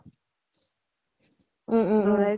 উম উম উম